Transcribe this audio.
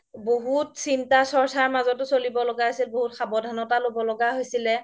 বহুত চিন্তা চৰ্চা মাজতো চলিব লগা হৈছিল বহুত সাবধানতা ল্'ব লগা হৈছিলে